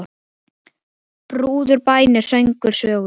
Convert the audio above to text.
Brúður, bænir, söngur, sögur.